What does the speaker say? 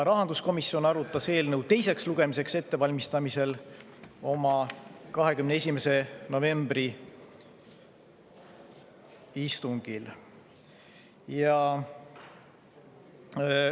Rahanduskomisjon arutas eelnõu, seda teiseks lugemiseks ette valmistades, oma 21. novembri istungil.